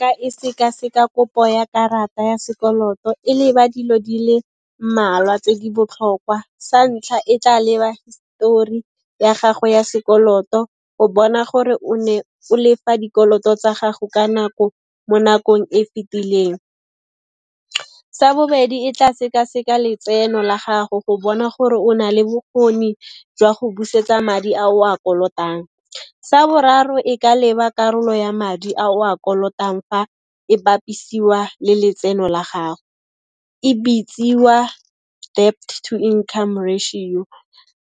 Ka e seka-seka kopo ya karata ya sekoloto e leba dilo di le mmalwa tse di botlhokwa. Sa ntlha, e tla leba histori ya gago ya sekoloto, o bona gore o ne o lefa dikoloto tsa gago ka nako, mo nakong e fetileng. Sa bobedi, e tla seka-seka letseno la gago go bona gore o na le bokgoni jwa go busetsa madi a o a kolotang. Sa boraro, e ka leba karolo ya madi a o a kolotang fa e bapisiwa le letseno la gago, e bitsiwa debt to income ratio.